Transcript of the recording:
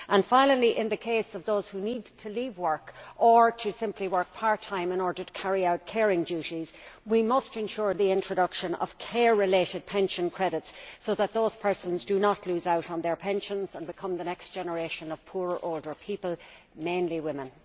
Finally, in the case of those who need to leave work or simply to work part time in order to carry out care duties, we must ensure the introduction of care related pension credits so that those persons do not lose out on their pensions and become the next generation of poorer older people, mainly women.